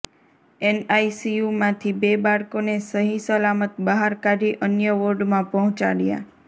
એનઆઇસીયુમાંથી બે બાળકોને સહીસલામત બહાર કાઢી અન્ય વોર્ડમાં પહોંચાડ્યાં